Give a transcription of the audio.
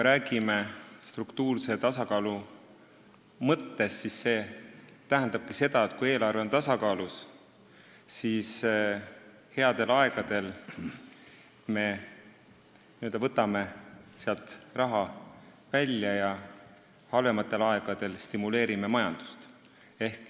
Struktuurne tasakaal tähendabki seda, et kui eelarve on tasakaalus, siis headel aegadel me n-ö võtame raha välja ja halvematel aegadel stimuleerime majandust.